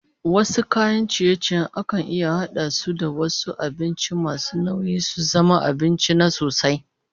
Wasu kayan ciye-ciyen akan iya hada su da wasu abincin masu nauyi su zama abinci na sosai